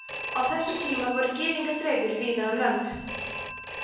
á þessum tíma voru gyðingar dreifðir víða um lönd